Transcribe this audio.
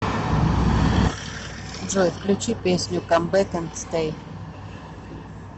джой включи песню кам бэк энд стэй